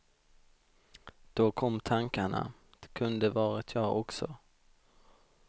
Då kom tankarna, det kunde varit jag också.